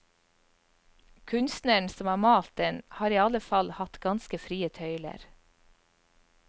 Kunstneren som har malt den, har i alle fall hatt ganske frie tøyler.